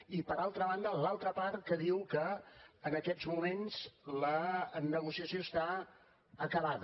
i per altra banda l’altra part que diu que en aquests moments la negociació està acabada